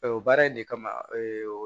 o baara in de kama